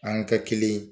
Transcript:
An ka kelen